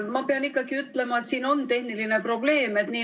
Ma pean ikkagi ütlema, et on tehniline probleem.